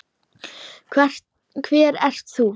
Hver ert þú?